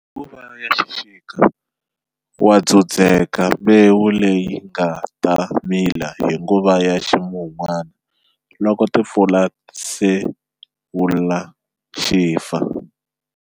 Hi nguvu ya xixika wa dzudzeka mbewu leyi nga ta mila hi nguva ya ximunwana loko timpfula ti sewula xi fa.